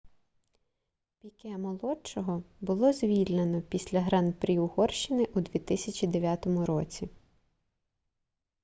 піке-молодшого було звільнено після гран-прі угорщини у 2009 році